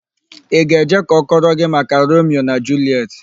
Ị ga-eje ka ọ kọrọ gị maka Romio na Juliet?